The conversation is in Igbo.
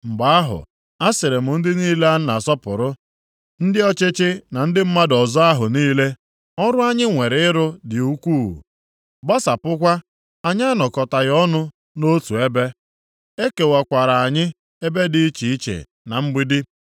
Mgbe ahụ, asịrị m ndị niile a na-asọpụrụ, ndị ọchịchị na ndị mmadụ ọzọ ahụ niile, “Ọrụ anyị nwere ịrụ dị ukwuu, gbasapụkwa, anyị anọkọtaghị ọnụ nʼotu ebe, ekewakwara anyị ebe dị iche iche na mgbidi.